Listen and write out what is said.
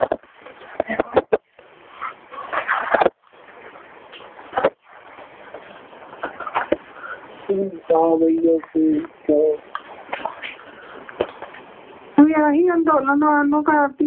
ਅੰਦੋਲਨਾਂ ਨੂੰ